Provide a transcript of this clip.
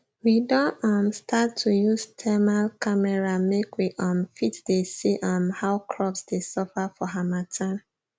we don um start to use thermal camera make we um fit dey see um how crops dey suffer for harmattan